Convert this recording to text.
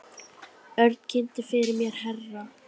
Örn kynnti fyrir mér herra